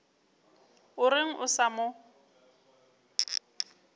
o reng a sa mo